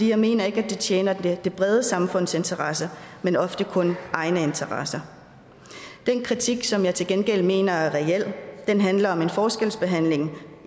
jeg mener ikke at de tjener det brede samfunds interesse men ofte kun egne interesser den kritik som jeg til gengæld mener er reel handler om en forskelsbehandling